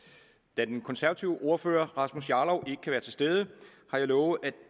da den konservative ordfører herre rasmus jarlov ikke kan være til stede har jeg lovet